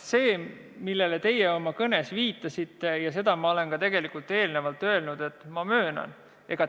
Selle kohta, millele teie oma kõnes viitasite, olen ma eelnevalt tegelikult öelnud, et ma möönan seda.